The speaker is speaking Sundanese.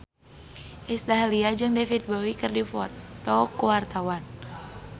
Iis Dahlia jeung David Bowie keur dipoto ku wartawan